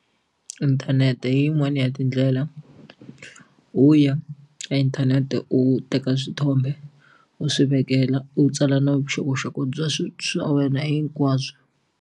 Inthanete hi yin'wani ya tindlela u ya ka inthanete u teka swithombe u swi vekela u tsala na vuxokoxoko bya swilo swa wena hinkwabyo.